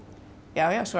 já já svo